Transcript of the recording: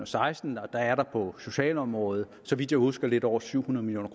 seksten og der er der på socialområdet så vidt jeg husker lidt over syv hundrede million